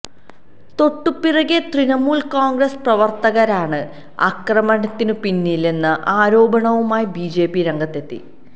തൊട്ടുപിറകെ തൃണമൂല് കോണ്ഗ്രസ് പ്രവര്ത്തകരാണ് ആക്രമണത്തിനു പിന്നിലെന്ന ആരോപണവുമായി ബിജെപി രംഗത്തെത്തി